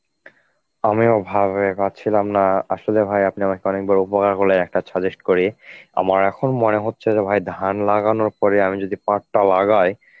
আমিও ভাবে পাচ্ছিলাম না, আসলে ভাই আপনি আমাকে অনেক বড় উপকার করলেন একটা suggest করে. আমার এখন মনে হচ্ছে যে ভাই ধান লাগানোর পরে আমি যদি পাট টা লাগাই